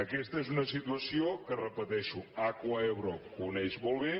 aquesta és una situació que ho repeteixo acuaebro coneix molt bé